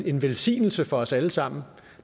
en velsignelse for os alle sammen